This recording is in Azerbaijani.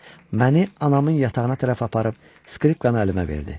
məni anamın yatağına tərəf aparıb skripkanı əlimə verdi.